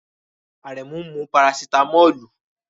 Aremu n mu parasitámọ́lù